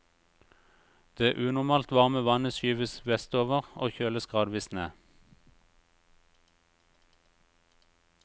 Det unormalt varme vannet skyves vestover og kjøles gradvis ned.